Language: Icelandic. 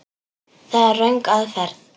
Það er röng aðferð.